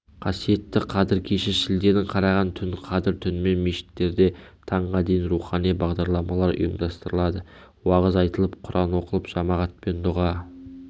қасиетті қадір кеші шілденің қараған түн қадір түнінде мешіттерде таңға дейін рухани бағдарламалар ұйымдастырылады уағыз айтылып құран оқылып жамағатпен дұға